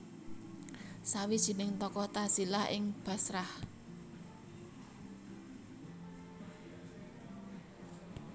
Sawijining tokoh tazilah ing Bashrah